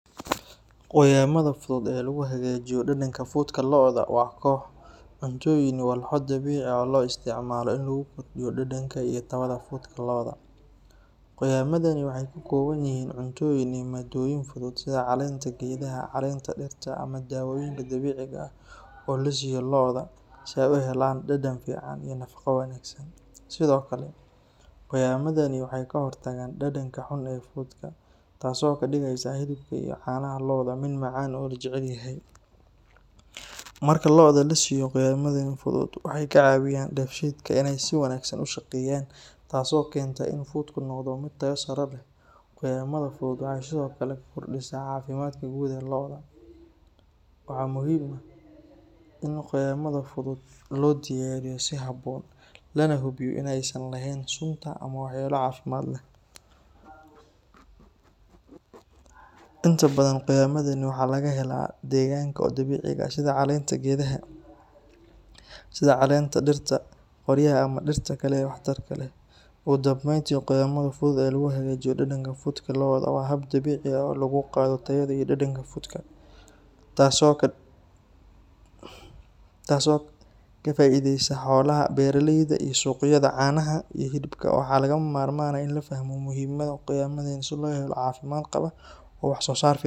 Qoyamada fudud ee lagu hagajinayo dhadhanka fudka lo'da waa koox cuntooyin iyo walxo dabiici ah oo loo isticmaalo in lagu kordhiyo dhadhanka iyo tayada fudka lo'da. Qoyamadani waxay ka kooban yihiin cuntooyin iyo maaddooyin fudud sida caleenta geedaha, caleenta dhirta, ama daawooyinka dabiiciga ah oo la siiyo lo'da si ay u helaan dhadhan fiican iyo nafaqo wanaagsan. Sidoo kale, qoyamadani waxay ka hortagaan dhadhanka xun ee fudka, taasoo ka dhigaysa hilibka iyo caanaha lo'da mid macaan oo la jecel yahay. Marka lo'da la siiyo qoyamadan fudud, waxay ka caawiyaan dheefshiidka inay si wanaagsan u shaqeeyaan, taasoo keenta in fudku noqdo mid tayo sare leh. Qoyamada fudud waxay sidoo kale ka hortagaan cudurrada caloosha iyo kuwa kale ee saameeya fudka, taas oo kordhisa caafimaadka guud ee lo'da. Waxaa muhiim ah in qoyamada fudud loo diyaariyo si habboon, lana hubiyo in aysan lahayn sunta ama waxyeello caafimaad leh. Inta badan, qoyamadan waxaa laga helaa deegaanka oo dabiici ah, sida caleenta geedaha sida caleenta dhirta qoryaha ah iyo dhirta kale ee waxtarka leh. Ugu dambeyntii, qoyamada fudud ee lagu hagajinayo dhadhanka fudka lo'da waa hab dabiici ah oo kor loogu qaado tayada iyo dhadhanka fudka, taasoo ka faa'iideysa xoolaha, beeralayda, iyo suuqyada caanaha iyo hilibka. Waxaa lagama maarmaan ah in la fahmo muhiimadda qoyamadan si loo helo lo' caafimaad qaba oo wax soo saar fiican.